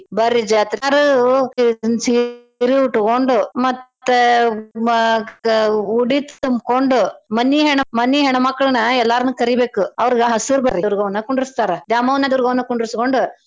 ಬರ್ರಿ ಜಾತ್ರೀಗ್. ಎಲ್ಲಾರೂ ಒಂದ್ ಸೀರಿ ಊಟ್ಗೊಂಡ ಮತ್ತ್ ಉಡಿ ತುಂಬ್ಕೊಂಡ್ ಮನಿ ಹೆಣ್~ ಮನಿ ಹೆಣ್ಮಕ್ಳನ ಎಲ್ಲಾರ್ನೂ ಕರಿಬೇಕು ಅವರ್ಗ ಹಸ್ರ ದುರ್ಗವ್ವನ್ನ ಕುಂದ್ರಸ್ತಾರ ದ್ಯಾಮವ್ವ ದುರ್ಗವ್ವ ಕುಂಡ್ರಸ್ಕೋಂಡ್.